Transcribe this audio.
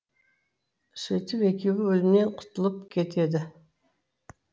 сөйтіп екеуі өлімнен құтылып кетеді